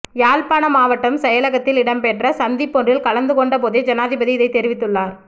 யாழ்ப்பாணம் மாவட்ட செயலகத்தில் இடம்பெற்ற சந்திப்பொன்றில் கலந்துகொண்டபோது ஜனாதிபதி இதனை தெரிவித்துள்ளார்